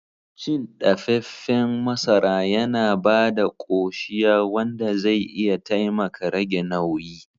Cin ɗafefen masara yana ba da koshiya wanda zai iya taimaka rage nauyi.